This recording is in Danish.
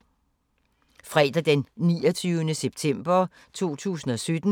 Fredag d. 29. september 2017